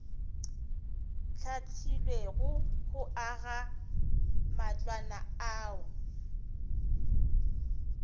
hlahlilwego go aga matlwana ao